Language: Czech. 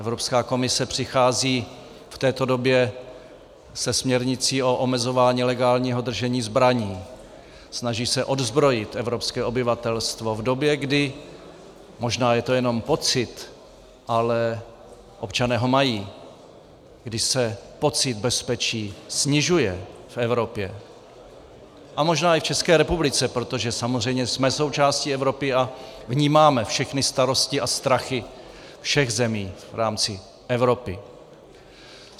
Evropská komise přichází v této době se směrnicí o omezování legálního držení zbraní, snaží se odzbrojit evropské obyvatelstvo v době, kdy - možná je to jenom pocit, ale občané ho mají - kdy se pocit bezpečí snižuje v Evropě a možná i v České republice, protože samozřejmě jsme součástí Evropy a vnímáme všechny starosti a strachy všech zemí v rámci Evropy.